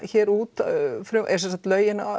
út lögin